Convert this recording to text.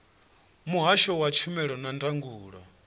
muhasho wa tshumelo na ndangulo